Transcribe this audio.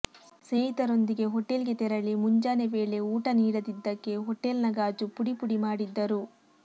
ಸ್ನೇಹಿತರೊಂದಿಗೆ ಹೊಟೆಲ್ ಗೆ ತೆರಳಿ ಮುಂಜಾನೆ ವೇಳೆ ಊಟ ನೀಡದಿದ್ದಕ್ಕೆ ಹೋಟೆಲ್ನ ಗಾಜು ಪುಡಿ ಪುಡಿ ಮಾಡಿದ್ದರು